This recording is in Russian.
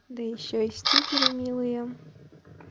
да ещё и стикеры милые